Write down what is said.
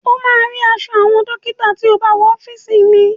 O máa rí aṣọ àwọn dọ́kítà tí o bá wọ ọ́fìsì mi..